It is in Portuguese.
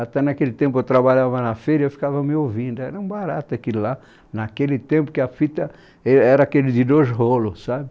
Até naquele tempo eu trabalhava na feira e eu ficava me ouvindo, era um barato aquilo lá, naquele tempo que a fita e era aquele de dois rolos, sabe?